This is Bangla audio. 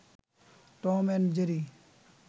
Tom and Jerry